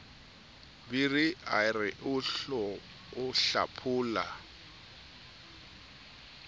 biri a re o hlaphola